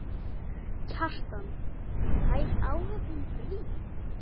Kjartan: Fær áhöfnin frí?